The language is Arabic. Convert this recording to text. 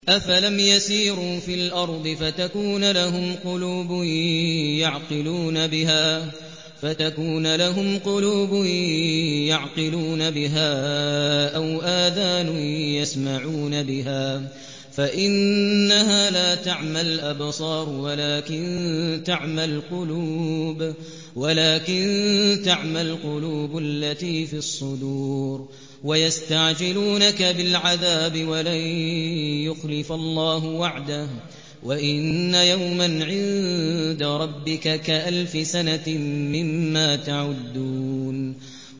أَفَلَمْ يَسِيرُوا فِي الْأَرْضِ فَتَكُونَ لَهُمْ قُلُوبٌ يَعْقِلُونَ بِهَا أَوْ آذَانٌ يَسْمَعُونَ بِهَا ۖ فَإِنَّهَا لَا تَعْمَى الْأَبْصَارُ وَلَٰكِن تَعْمَى الْقُلُوبُ الَّتِي فِي الصُّدُورِ